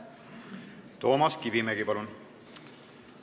Toomas Kivimägi, palun!